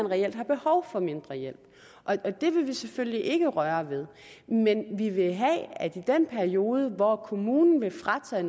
reelt har behov for mindre hjælp og det vil vi selvfølgelig ikke røre ved men i den periode hvor kommunen vil fratage